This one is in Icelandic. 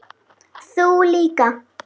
Ég ræddi við frænda minn.